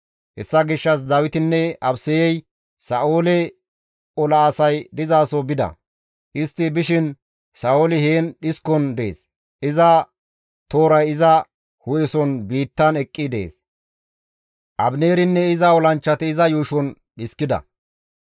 Hessa gishshas Dawitinne Abisayey Sa7oole ola asay dizaso bida; istti bishin Sa7ooli heen dhiskon dees; iza tooray iza hu7eson biittan eqqi dees; Abineerinne iza olanchchati iza yuushon dhiskida.